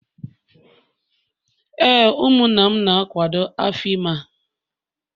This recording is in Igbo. Ee, ụmụnna m na-akwado afọ ime a